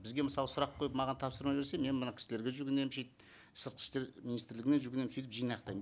бізге мысалы сұрақ қойып маған тапсырма берсе мен мына кісілерге жүгінемін сыртқы істер министрлігіне жүгінемін сөйтіп жинақтаймын